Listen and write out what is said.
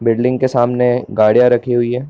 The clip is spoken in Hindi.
बिल्डिंग के सामने गाड़ियां रखी हुई है।